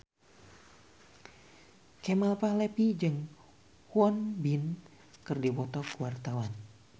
Kemal Palevi jeung Won Bin keur dipoto ku wartawan